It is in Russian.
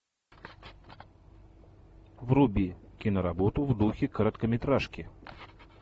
вруби киноработу в духе короткометражки